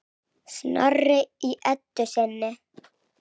Snorri í Eddu sinni.